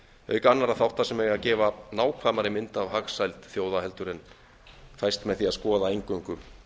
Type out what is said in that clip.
auk annarra þátta sem eiga að gefa nákvæmari mynd af hagsæld þjóða en fæst með því að skoða eingöngu